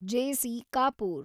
JC. Kapoor